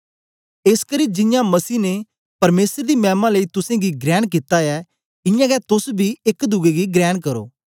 एसकरी जियां मसीह ने परमेसर दी मैमा लेई तुसेंगी ग्रेण कित्ता ऐ इयां गै तोस बी एक दुए गी ग्रेण करो